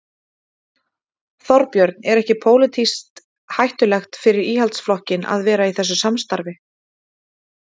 Þorbjörn: Er ekki pólitískt hættulegt fyrir Íhaldsflokkinn að vera í þessu samstarfi?